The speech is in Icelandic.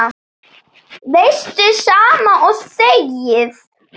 Veistu, sama og þegið.